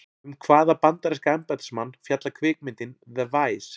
Um hvaða bandaríska embættismann fjallar kvikmyndin The Vice?